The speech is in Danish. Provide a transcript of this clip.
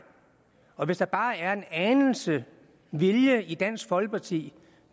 og hvis der bare er en anelse vilje i dansk folkeparti